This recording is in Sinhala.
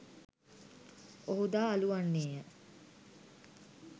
ඔහු දා අළු වන්නේ ය.